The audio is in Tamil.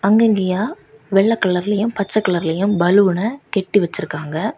அங்க இங்கயா வெள்ளை கலர்லயும் பச்சை கலர்லயும் பலூன கட்டி வச்சிருக்காங்க.